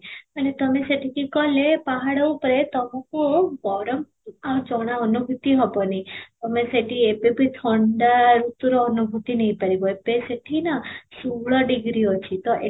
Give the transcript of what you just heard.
ମାନେ ତମେ ସେଠିକି ଗଲେ ପାହାଡ଼ ଉପରେ ତମକୁ ଗରମ ଆଉ ଜଣା ଅନୁଭୂତି ହେବନି, ତମେ ସେଠି ଏବେବି ଥଣ୍ଡା ଭିତରୁ ଅନୁଭୂତି ନେଇ ପାରିବ, ଏବେ ସେଠି ନା ଷୋହଳ ଡ଼ିଗ୍ରୀ ଅଛି ତ